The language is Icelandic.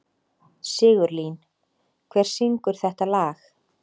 Sigurlín, hver syngur þetta lag?